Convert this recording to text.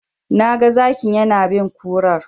Na ga Zakin yana bin kurar.